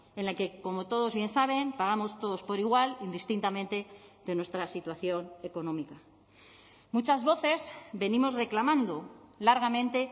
en la que como todos bien saben pagamos todos por igual indistintamente de nuestra situación económica muchas voces venimos reclamando largamente